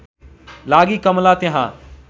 लागि कमला त्यहाँ